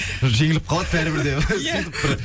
жеңіліп қалады бәрібір де